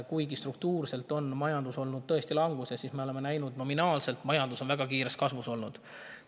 Kuigi struktuurselt on majandus olnud tõesti languses, oleme me näinud, et nominaalselt on majandus väga kiiresti kasvanud.